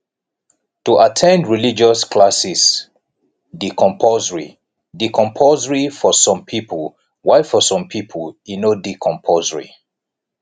to at ten d religious classes de compulsory de compulsory for some pipo while for some pipo e no de compulsory